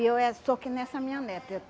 E eu eh sou que nem essa minha neta.